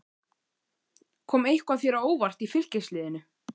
Kom eitthvað þér á óvart í Fylkisliðinu?